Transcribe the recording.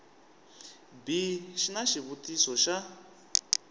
b xi na xivutiso xa